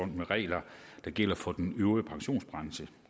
med regler der gælder for den øvrige pensionsbranche